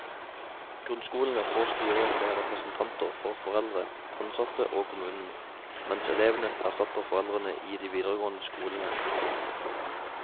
Grunnskolene får styrer med representanter for foreldre, ansatte og kommunen, mens elevene erstatter foreldrene i de videregående skolene.